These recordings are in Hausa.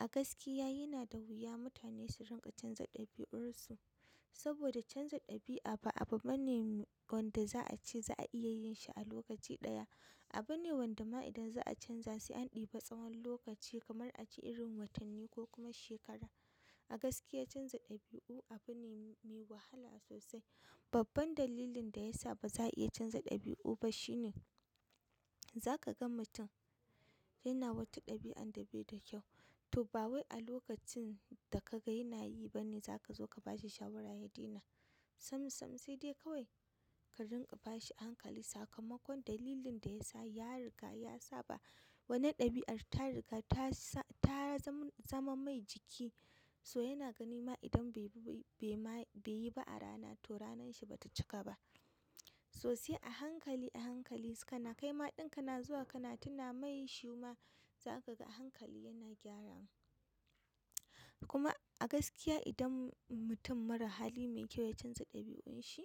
A gaskiya yana da wuya mutane su rinƙa canza ɗabi'unsu saboda canza ɗabi'a ba abu bane wanda za a ce za a iya yin shi a lokaci ɗaya. Abu ne wanda ma idan za a canza sai an ɗiba tsawon lokaci kamar a ce irin watanni ko kuma shekara. A gaskiya canza ɗabi'u abu ne mai wahala sosai. Babban dalilin da ya sa ba za a iya canza ɗabi'u ba shine zaka ga mutum yana wata ɗabi'an da bai da kyau, to ba wai a lokacin da ka ga yana yi ba ne za ka zo ka ba shi shawarar ya daina. Sam sam sai dai kawai ka rinƙa ba shi hankali. Sakamakon dalilin da ya sa ya riga ya saba. Wanan ɗabi'ar ta riga ta zama mai jiki, so yana ganin ma idan bai yi ba a rana to ranar shi ba ta cika ba. So sai a hankali a hankali sannan kai ma ɗin kana zuwa kana tuna mai shima zaka ga hankali yana gyaran. Kuma a gaskiya idan mutum mara hali mai kyau ya canza ɗabi'un shi,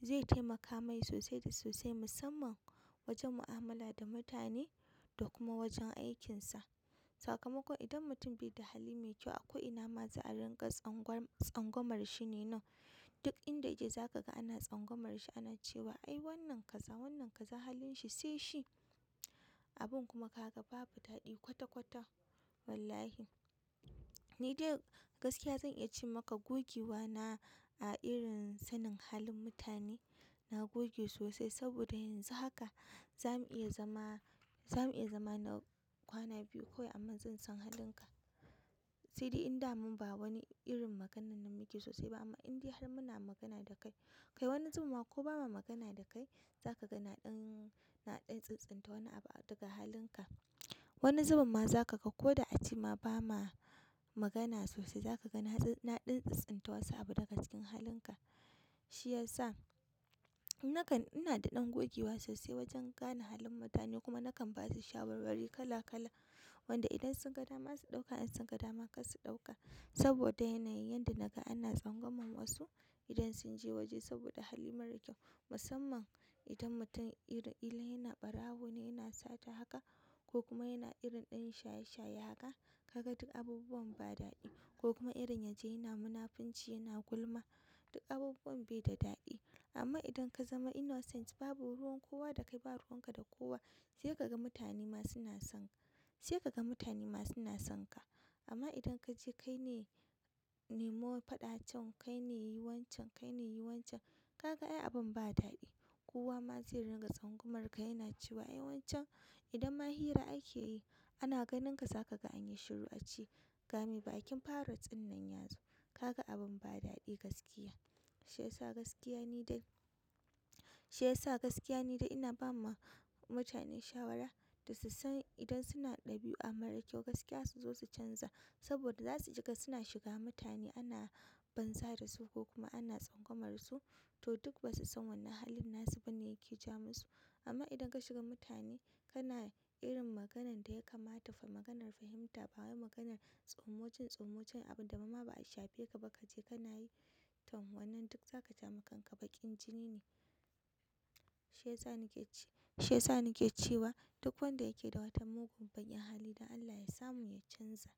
zai taimaka mai sosai da sosai musamman wajen mu'amala da mutane da kuma wajen aikin sa. Sakamakon idan mutum bai da hali mai kyau akwai ina ma za a rinƙa tsangwamar shi ne nan. Duk inda ya je za ka ga ana tsangwamar shi, ana cewa ai wannan kaza, wannan kaza halin shi sai shi. Abun kuma ka ga babu daɗi kwata kwata. Wallahi! Ni dai gaskiya zan iya ce maka gogewa na a irin sanin halin mutane. Na goge sosai saboda yanzu haka za mu iya zama, za mu iya zama na kwana biyu kawai amma zan san halin ka. Sai dai inda man ba wani irin maganan nan muke sosai ba amma indiya har muna magana da kai, kai wani zuben ma ko ba mu magana da kai za ka ga na ɗan tsintsinta wani abu daga halin ka. Wani zubin ma za ka ga ko da a ce ma ba mu magana sosai za ka ga na ɗan tsintsinta wasu abu daga cikin halin ka. Shi yasa nakan, ina da ɗan gogewa sosai wajen gane halin mutane kuma nakan ba da shawarwari kala kala wanda idan sun ga dama su ɗauka in sun ga dama kar su ɗauka. Saboda yana yin yadda naga ana tsangwamar wasu idan sun je waje saboda hali mara kyau. Musamman idan mutum ira, ila yana ɓarawo ne yana sata haka ko kuma yana irin ɗan shaye shaye haka, ka ga duk abubuwan ba daɗi. Ko kuma irin ya je yana munafunci yana gulma, duk abubuwan bai da daɗi. Amma idan ka zama innocent babu ruwan kowa da kai ba ruwan ka da kowa sai ka ga mutane ma suna son, sai ka ga mutane ma suna son ka. Amma idan ka je kai ne nemo faɗa can, kai ne yi wancan, kai ne yi wancan, ka ga ai abun ba daɗi. Kowa ma zai ringa tsangwamarka yana cewa ai wancen idan ma hira akeyi ana ganinka zakaga anyi shiru ace ga mai bakin parrot ɗin nan yazo kaga abin ba daɗi gaskiya shi yasa gaskiya ni dai, shi yasa gaskiya ni dai ina ba ma mutane shawara da su san idan suna ɗabi'a mara kyau gaskiya su zo su canza. Saboda za su ji ka suna shiga mutane ana banza da su ko kuma ana tsangwamar su to duk ba su san wannan halin nasu bane yake jamansu. Amma idan ka shiga mutane kana irin maganan da ya kamata fa maganar fahimta ba wai maganar tsumuncan tsumuncan abun da ma ba a shafe ka ba ka je kana yi. To wannan duk zaka ja ma kanka baƙin jini ne. Shi yasa ni ke cewa duk wanda yake da wata mugun banƙin hali dan Allah ya samu ya canza.